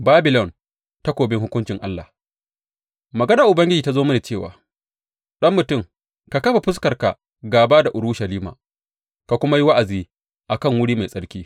Babilon, takobin hukuncin Allah Maganar Ubangiji ta zo mini cewa, Ɗan mutum, ka kafa fuskarka gāba da Urushalima ka kuma yi wa’azi a kan wuri mai tsarki.